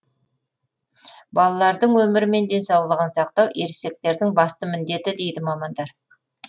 балалардың өмірі мен денсаулығын сақтау ересектердің басты міндеті дейді мамандар